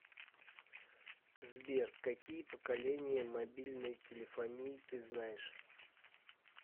сбер какие поколения мобильной телефонии ты знаешь